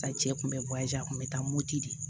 A cɛ kun be bɔ a ju a kun be taa moto de